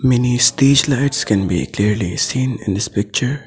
Many street lights can be clearly seen in this picture.